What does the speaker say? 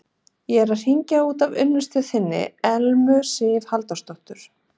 Ég er að hringja út af unnustu þinni, Elmu Sif Halldórsdóttur.